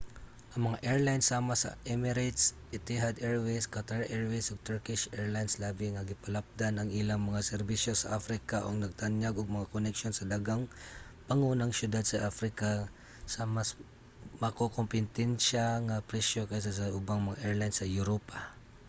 ang mga airline sama sa emirates etihad airways qatar airways ug turkish airlines labi nga gipalapdan ang ilang mga serbisyo sa africa ug nagtanyag og mga koneksyon sa daghang pangunang syudad sa africa sa mas makakompetensya nga presyo kaysa sa ubang mga airline sa europa